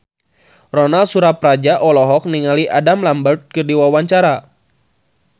Ronal Surapradja olohok ningali Adam Lambert keur diwawancara